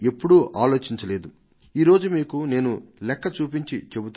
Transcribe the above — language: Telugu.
ఈ రోజు ప్రియమైన నా దేశ వాసులారా ఈ విషయంలో నా సొంత విషయాన్నే మీ ముందు ఉంచడానికి నాకు ఎంతో ఆనందంగా ఉంది